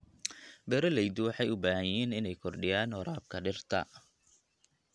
Beeralayda waxay u baahan yihiin inay kordhiyaan waraabka dhirta.